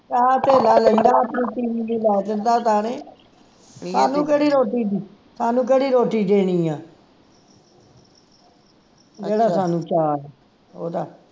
ਲਾ ਦਿੰਦਾ ਸਾਨੂ ਕਿਹੜੀ ਰੋਟੀ ਦੀ ਸਾਨੂੰ ਕਿਹੜੀ ਰੋਟੀ ਦੇਣੀ ਆ ਜਿਹੜਾ ਸਾਨੂੰ ਚਾਅ ਓਹਦਾ